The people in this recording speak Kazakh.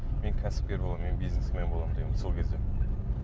мен кәсіпкер боламын мен бизнесмен боламын дегенмін сол кезде